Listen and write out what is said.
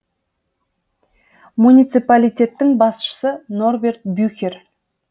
муниципалитеттің басшысы норберт бюхер